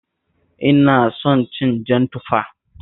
Ina son cin jan tufa